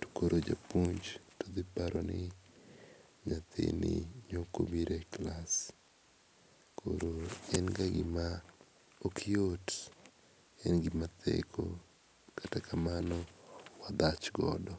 to koro japuonj to paro ni ne ok ibiro e klas. Koro en ga gima ok yot en gima theko kata kamano en gima wadhach godo